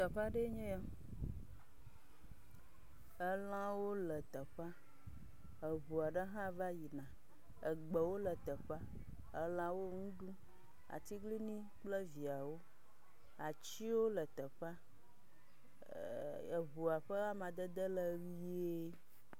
Teƒe aɖee nye ya, elãwo teƒea, eŋua ɖe hã va yina, egbewo le teƒea, elãwo ŋu ɖum, atiglinyi kple viawo, atsiwo le teƒea, eh eh eh, eŋua ƒe amadede le ʋie.